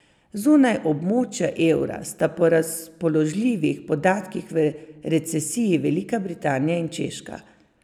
Zunaj območja evra sta po razpoložljivih podatkih v recesiji Velika Britanija in Češka.